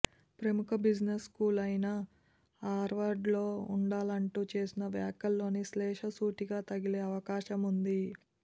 ప్రముఖ business school అయిన హార్వర్డ్లో ఉండాలంటూ చేసిన వ్యాఖ్యలోని శ్లేష సూటిగా తగిలే అవకాశం ఉంది